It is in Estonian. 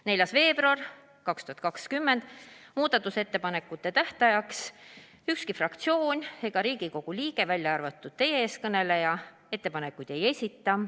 4. veebruariks, muudatusettepanekute tähtajaks ükski fraktsioon ega Riigikogu liige, välja arvatud teie ees kõneleja, ettepanekuid ei esita.